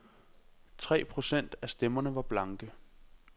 Tre procent af stemmerne var blanke.